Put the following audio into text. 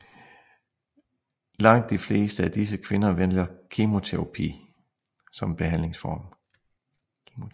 Langt de fleste af disse kvinder vælger kemoterapi som behandlingsform